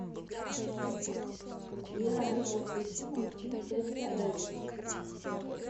сбер алиса включи мультфильм текса эвери